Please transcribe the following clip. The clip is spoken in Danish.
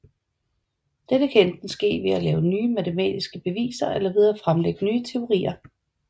Dette kan enten ske ved at lave nye matematiske beviser eller ved at fremlægge nye teorier